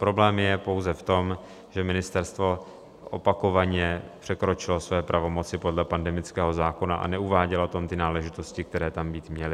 Problém je pouze v tom, že ministerstvo opakovaně překročilo své pravomoci podle pandemického zákona a neuvádělo tam ty náležitosti, které tam být měly.